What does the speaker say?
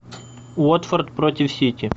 уотфорд против сити